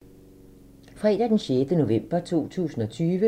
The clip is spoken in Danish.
Fredag d. 6. november 2020